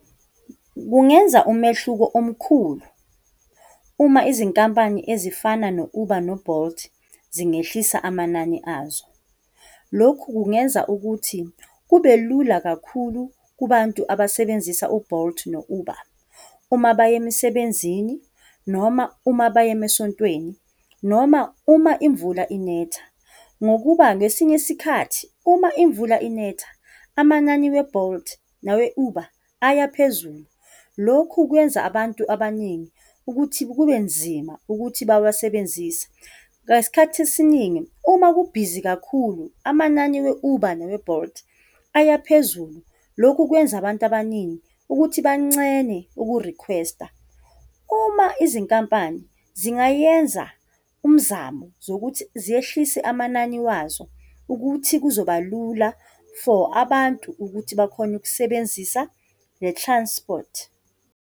Kungenza umehluko omkhulu uma izinkampani ezifana no-Uber, no-Bolt zingehlisa amanani azo. Lokhu kungenza ukuthi kube lula kakhulu kubantu abasebenzisa u-Bolt no-Uber, uma baye emsebezini noma uma baye emasontweni, noma uma imvula inetha, ngokuba ngesinye isikhathi uma imvula inetha amanani we-Bolt nawe-Uber ayaphezulu. Lokhu kwenza abantu abaningi ukuthi kubenzima ukuthi bawasebenzise. Ngesikhathi esiningi, uma kubhizi kakhulu, amanani we-Uber nawe-Bolt ayaphezulu. Lokhu kwenza abantu abaningi ukuthi bancene ukurikhwesta. Uma izinkampani zingayenza umzamo zokuthi zehlise amanani wazo ukuthi kuzoba lula for abantu ukuthi bakhone ukusebenzisa le-transport.